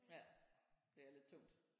Ja det er lidt tungt